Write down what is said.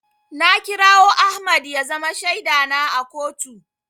Na kirawo Ahmad ya zama shaida na a kotu.